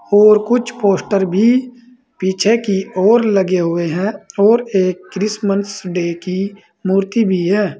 और कुछ पोस्टर भी पीछे की ओर लगे हुए हैं और एक क्रिसमस डे की मूर्ति भी है।